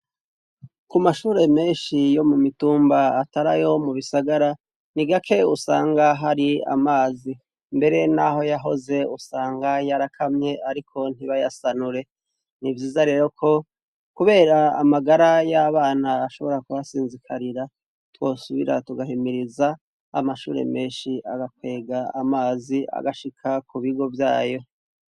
Ku mashure menshi yo mu mitumba atarayo mu bisagara ni gake usanga hari amazi mbere, naho yahoze usanga yarakamye, ariko ntibayasanure nivyiza rero ko, kubera amagara y'abana ashobora kubasinzikarira twosubira tugahemiriza amashure menshi agakwega amazi agashika ku bigo vyayo.